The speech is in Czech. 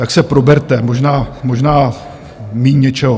Tak se proberte, možná méně něčeho.